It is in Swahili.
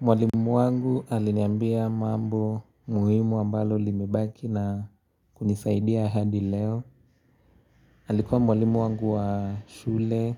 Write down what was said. Mwalimu wangu aliniambia mambo muhimu ambalo limebaki na kunisaidia hadi leo Alikuwa mwalimu wangu wa shule,